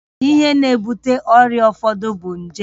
Ihe na-ebute ọrịa ụfọdụ bụ nje